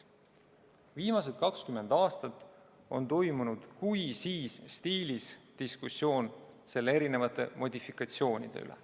Viimased 20 aastat on toimunud kui-siis-stiilis diskussioon selle erinevate modifikatsioonide üle.